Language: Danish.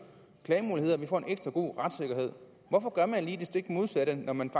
klagemuligheder vi får en ekstra god retssikkerhed hvorfor gør man lige det stik modsatte når man